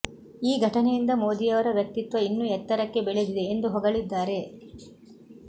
ಈ ಘಟನೆಯಿಂದ ಮೋದಿಯವರ ವ್ಯಕ್ತಿತ್ವ ಇನ್ನೂ ಎತ್ತರಕ್ಕೆ ಬೆಳದಿದೆ ಎಂದು ಹೊಗಳಿದ್ದಾರೆ